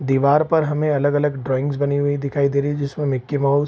दिवार पर हमें अलग-अलग ड्राइंगस बनी हुई दिखाई दे रहीं हैं जिसमें मिक्की माउस --